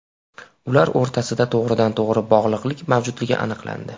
Ular o‘rtasida to‘g‘ridan-to‘g‘ri bog‘liqlik mavjudligi aniqlandi.